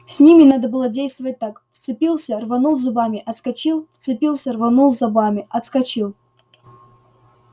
с ними надо было действовать так вцепился рванул зубами отскочил вцепился рванул зубами отскочил